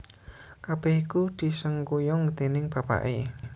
Kabèh iku disengkuyung déning bapaké